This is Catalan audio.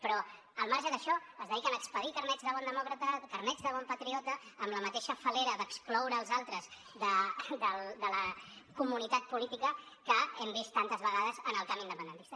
però al marge d’això es dediquen a expedir carnets de bon demòcrata carnets de bon patriota amb la mateixa fal·lera d’excloure els altres de la comunitat política que hem vist tantes vegades en el camp independentista